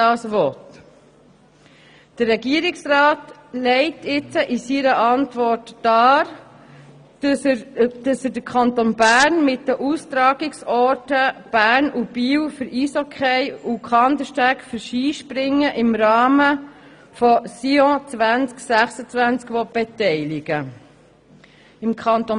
Der Regierungsrat legt in seiner Antwort dar, dass er den Kanton Bern mit den Austragungsorten Bern und Biel für Eishockey und Kandersteg für Skispringen an Sion 2026 beteiligen will.